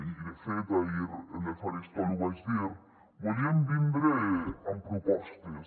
i de fet ahir en el faristol ho vaig dir volíem vindre amb propostes